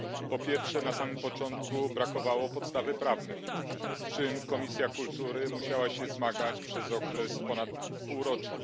Po pierwsze, na samym początku brakowało podstawy prawnej, z czym Komisja Kultury musiała się zmagać przez okres ponad pół roku.